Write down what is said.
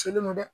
Selen don dɛ